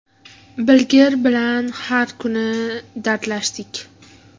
Bilgir bilan har kuni dardlashardik.